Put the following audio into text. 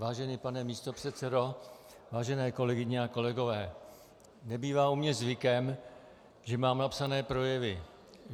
Vážený pane místopředsedo, vážené kolegyně a kolegové, nebývá u mě zvykem, že mám napsané projevy.